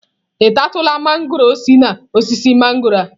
Ị tatụla mangọrọ si na osisi mangọrọ a?